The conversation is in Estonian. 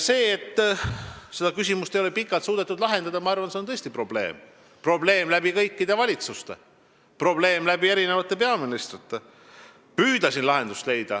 See, et seda küsimust ei ole pikalt suudetud lahendada, ma arvan, on tõesti probleem, kõikide valitsuste ja mitmete peaministrite probleem.